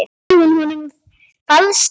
Veitti hún honum falskt öryggi?